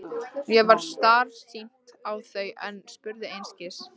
Mér varð starsýnt á þau en spurði einskis.